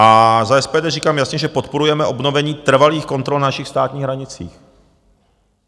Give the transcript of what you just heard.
A za SPD říkám jasně, že podporujeme obnovení trvalých kontrol na našich státních hranicích.